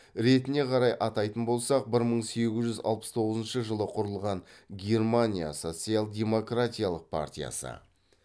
ретіне қарай атайтын болсақ бір мың сегіз жүз алпыс тоғызыншы жылы құрылған германия социал демократиялық партиясы